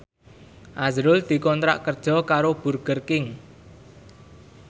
azrul dikontrak kerja karo Burger King